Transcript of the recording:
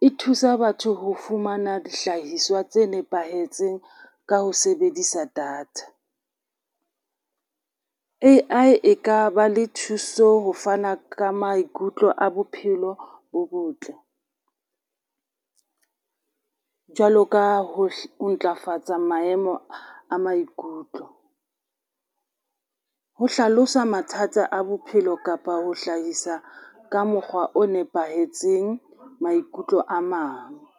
E thusa batho ho fumana dihlahiswa tse nepahetseng ka ho sebedisa data, A_I e ka ba le thuso ho fana ka maikutlo a bophelo bo botle, jwalo ka ho ntlafatsa maemo a maikutlo, ho hlalosa mathata a bophelo kapa ho hlahisa ka mokgwa o nepahetseng maikutlo a mang.